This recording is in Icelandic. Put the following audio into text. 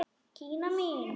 Gína mín!